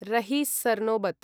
रहि सर्नोबत्